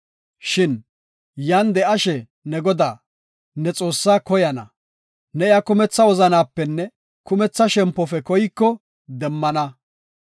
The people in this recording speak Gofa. Shin yan de7ashe ne Godaa, ne Xoossaa koyana; ne iya kumetha wozanapenne kumetha shempofe koyko demmana.